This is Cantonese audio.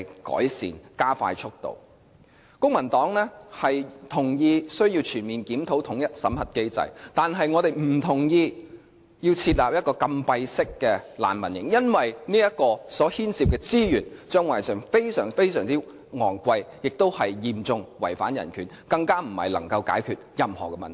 公民黨同意需要全面檢討統一審核機制，但我們不同意設立禁閉式難民營，因為這牽涉的資源將會非常昂貴，亦嚴重違反人權，更不能解決任何問題。